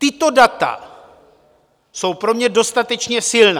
Tato data jsou pro mě dostatečně silná.